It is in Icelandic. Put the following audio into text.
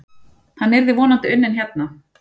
Hann yrði vonandi unnin hérna.